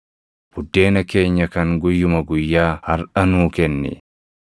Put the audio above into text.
Buddeena keenya kan guyyuma guyyaa harʼa nuu kenni.